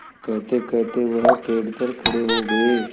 कहतेकहते वह पेड़ पर खड़े हो गए